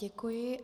Děkuji.